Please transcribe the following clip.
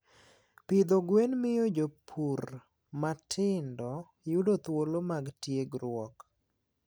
Pidho gwen miyo jopur matindo yudo thuolo mag tiegruok.